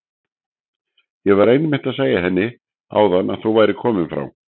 Ég var einmitt að segja henni áðan að þú værir kominn frá